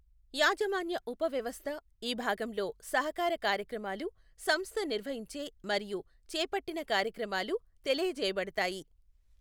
యాజమాన్య ఉపవ్యవస్థ, ఈ భాగంలో సహకార కార్యక్రమాలు సంస్థ నిర్వహించే మరియు చేపట్టిన కార్యక్రమాలు తెలియజేయబడతాయి.